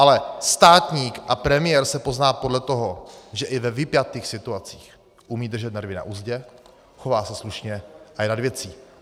Ale státník a premiér se pozná podle toho, že i ve vypjatých situacích umí držet nervy na uzdě, chová se slušně a je nad věcí.